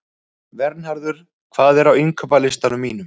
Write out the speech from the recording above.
Vernharður, hvað er á innkaupalistanum mínum?